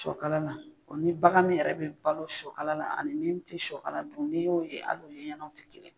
shɔkala la o ni bagan min yɛrɛ bɛ balo shɔkala la ani min tɛ shɔkala dun ni y'o ye hali u yeɲɛnaw tɛ kelen.